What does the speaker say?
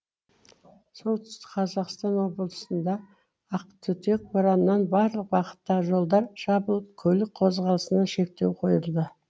солтүстік қазақстан облысында ақтүтек бораннан барлық бағыттағы жолдар жабылып көлік қозғалысына шектеу қойылды